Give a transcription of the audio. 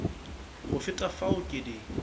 go feta fao ke di